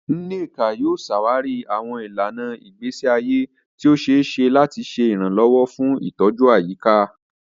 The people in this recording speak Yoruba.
Nneka yóò ṣàwárí àwọn ìlànà ìgbésí ayé tí ó ṣe é ṣe láti ṣe ìrànlọ́wọ́ fún ìtọ́jú àyíká.